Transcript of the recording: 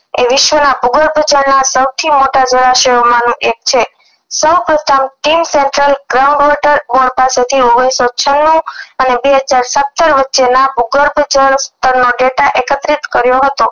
એ વિશ્વના ભૂગર્ભજળ ના સૌથી મોટા જળાશયો માનું એક છે સૌપ્રથમ થી ઓગણીસો છન્નું અને બે હજાર સત્તર વચ્ચેના ભૂગર્ભજળ પર નો data એકત્રિત કર્યો હતો